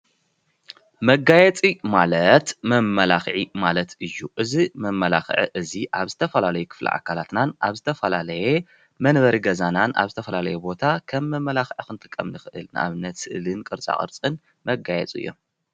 መጋየፂ ማለት መማላክዒ ማለት እዩ ።እዚ መማላክዒ እዚ ኣብ ዝተፈላለየ ክፍሊ ኣካላትናን ኣብ ዝተፈላለየ መንበሪ ገዛናን ኣብ ዝተፈላለየ ቦታ ከም መማላክዒ ክንጥቀመሉ ንክእል ንኣብነት ስእሊ ፣ቅርፃቅርፅን፣ መጋየፂ እዩም።